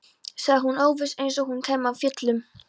sagði hún óviss, eins og hún kæmi af fjöllum.